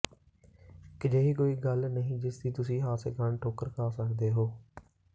ਇਹ ਅਜਿਹੀ ਕੋਈ ਗੱਲ ਨਹੀਂ ਜਿਸ ਦੀ ਤੁਸੀਂ ਹਾਦਸੇ ਕਾਰਨ ਠੋਕਰ ਖਾ ਸਕਦੇ ਹੋ